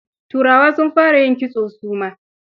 Turawa sun fara yin kitso su ma.